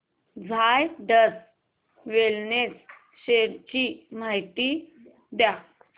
Zydus wellness shares ची माहिती द्या